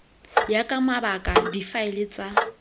ya ka mabaka difaele tsa